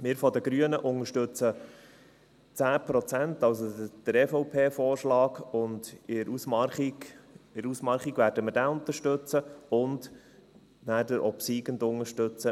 Wir von den Grünen unterstützen 10 Prozent, also den EVP-Vorschlag, und in der Ausmarchung werden wir diesen unterstützen und danach den obsiegenden unterstützen.